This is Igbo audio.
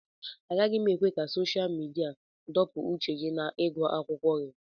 Agaghị m ekwe ka sosha midia dọpụ uche gị n'ịgụ akwụkwọ gị